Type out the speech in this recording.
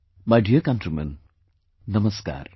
My dear countrymen, Namaskar